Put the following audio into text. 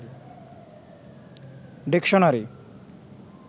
dictionary